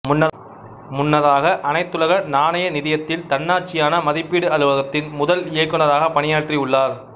முன்னதாக அனைத்துலக நாணய நிதியத்தில் தன்னாட்சியான மதிப்பீடு அலுவலகத்தின் முதல் இயக்குநராகப் பணியாற்றி உள்ளார்